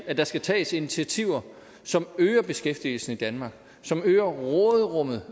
at der skal tages initiativer som øger beskæftigelsen i danmark som øger råderummet